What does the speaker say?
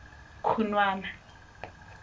khunwana